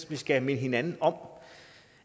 vi skal minde hinanden om